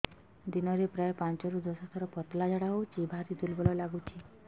ଦିନରେ ପ୍ରାୟ ପାଞ୍ଚରୁ ଦଶ ଥର ପତଳା ଝାଡା ହଉଚି ଭାରି ଦୁର୍ବଳ ଲାଗୁଚି